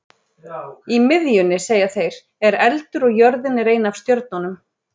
Í miðjunni, segja þeir, er eldur og jörðin er ein af stjörnunum.